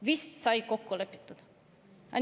" Vist sai kokku lepitud!